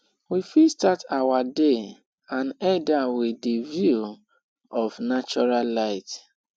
we fit start our day and end am with di view of natural light